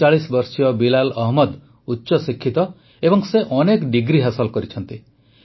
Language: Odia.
୩୯ ବର୍ଷୀୟ ବିଲାଲ ଅହମଦ ଉଚ୍ଚଶିକ୍ଷିତ ଏବଂ ସେ ଅନେକ ଡିଗ୍ରୀ ହାସଲ କରିଛନ୍ତି